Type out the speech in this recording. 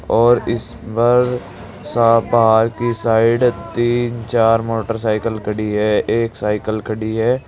और इस पर सा बाहर की साइड तीन चार मोटरसाइकल खड़ी है एक साइकल खड़ी है।